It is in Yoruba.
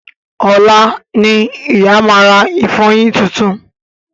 Ọ̀la ni ìyá ma rà ìfọyín titun